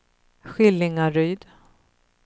Skillingaryd